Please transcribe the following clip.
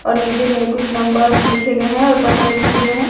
और नीचे में कुछ नंबर लिखे गए हैं और पता लिखा गया है।